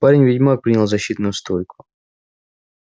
парень-ведьмак принял защитную стойку